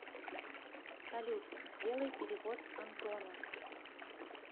салют сделай перевод антону